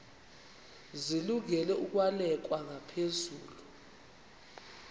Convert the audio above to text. zilungele ukwalekwa ngaphezulu